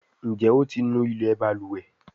Njé o tí ńú ilé balùwẹ̀?